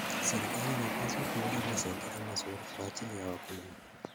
Serikali inapaswa kuunda mazingira mazuri kwa ajili ya wakulima.